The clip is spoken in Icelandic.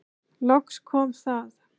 Loks kom það.